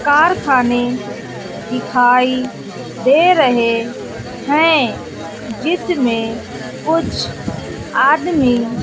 कारखाने दिखाई दे रहे हैं जिसमें कुछ आदमी --